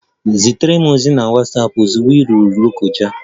Zitere m ozi na Watsapụ ozugbo ị rutere Lokoja!